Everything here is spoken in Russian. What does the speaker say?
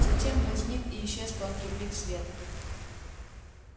затем возник и исчез тонкий блик света